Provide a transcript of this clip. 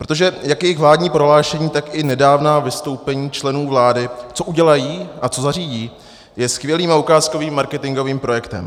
Protože jak jejich vládní prohlášení, tak i nedávná vystoupení členů vlády, co udělají a co zařídí, jsou skvělým a ukázkovým marketingovým projektem.